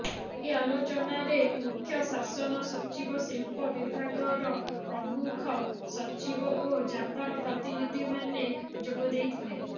ଏହି ଆଲୋଚନାରେ ମୁଖ୍ୟ ଶାସନ ସଚିବ ଶିଳ୍ପ ବିଭାଗର ପ୍ରମୁଖ ସଚିବ ଓ ଜାପାନ ପ୍ରତିନିଧିମାନେ ଯୋଗ ଦେଇଥିଲେ